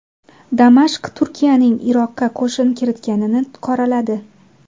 Damashq Turkiyaning Iroqqa qo‘shin kiritganini qoraladi.